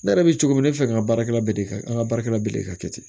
Ne yɛrɛ bɛ cogo min na ne bɛ fɛ ka baarakɛla bɛɛ de kɛ an ka baarakɛla bɛɛ de ka kɛ ten